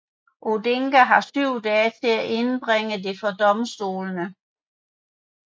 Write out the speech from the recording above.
Odinga har syv dage til at indbringe det for domstolene